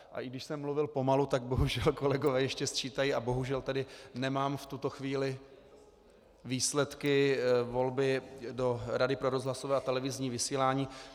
A i když jsem mluvil pomalu, tak bohužel kolegové ještě sčítají a bohužel tady nemám v tuto chvíli výsledky volby do Rady pro rozhlasové a televizní vysílání.